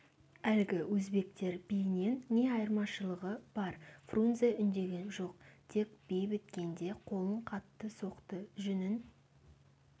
әлгі өзбектер биінен не айырмашылығы бар фрунзе үндеген жоқ тек би біткенде қолын қатты соқты жүнін